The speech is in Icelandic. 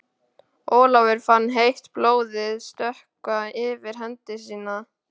Ólafur fann heitt blóðið stökkva yfir hendi sína.